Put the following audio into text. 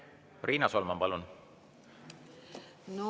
Riina Solman, palun!